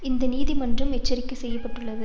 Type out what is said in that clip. இந்த நீதி மன்றம் எச்சரிக்கை செய்துள்ளது